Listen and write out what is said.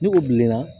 N'u bilenna